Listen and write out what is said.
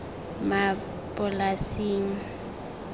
maplasing